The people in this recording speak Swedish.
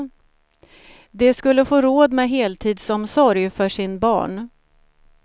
De skulle få råd med heltidsomsorg för sin barn.